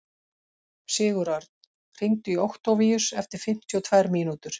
Sigurörn, hringdu í Októvíus eftir fimmtíu og tvær mínútur.